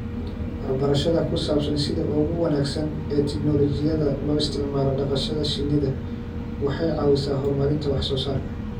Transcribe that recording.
Waxbarashada ku saabsan sida ugu wanaagsan ee tignoolajiyada loo isticmaalo dhaqashada shinnida waxay caawisaa horumarinta wax soo saarka.